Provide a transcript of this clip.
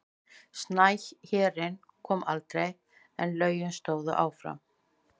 Snæhérinn kom aldrei en lögin stóðu áfram.